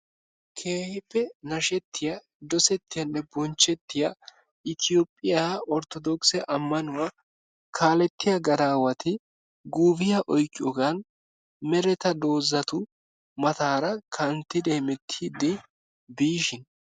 Keehippe nashettiya dosettiyanne bonchchettiya Itiyoophiya orttodookise ammanuwa kaalettiya gadaawati guufiya oyqqiyogan mereta doozatu mataara kanttidi hemettiiddi biishin.